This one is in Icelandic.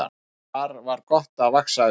Þar var gott að vaxa upp.